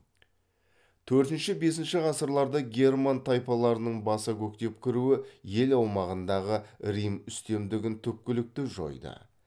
төртінші бесінші ғасырларда герман тайпаларының баса көктеп кіруі ел аумағындағы рим үстемдігін түпкілікті жойды